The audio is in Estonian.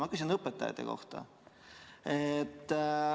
Ma küsin õpetajate kohta.